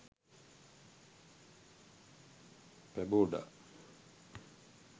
paboda